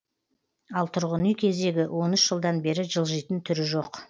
ал тұрғын үй кезегі он үш жылдан бері жылжитын түрі жоқ